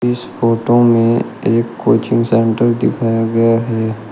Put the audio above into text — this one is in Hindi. इस फोटो में एक कोचिंग सेंटर दिखाया गया है।